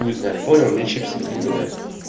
хуй знает понял мне чипсы напоминает